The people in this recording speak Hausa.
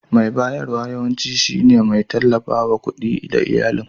Mai bayarwa yawanci shine mai tallafawa da kuɗi ga iyalin.